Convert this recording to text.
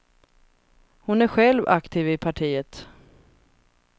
Hon är själv aktiv i partiet.